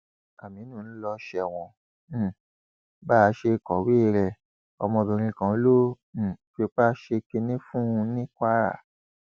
àmínú ń lọ sẹwọn um bá a ṣe kọwé rẹ ọmọbìnrin kan ló um fipá ṣe kínní fún ní kwara